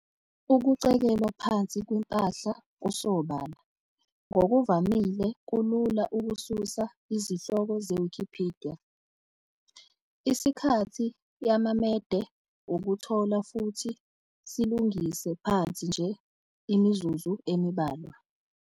Ukucekelwa phansi kwempahla kusobala ngokuvamile kulula ukususa izihloko zeWikipidiya, isikhathi yamaMede ukuthola futhi silungise phansi nje imizuzu embalwa.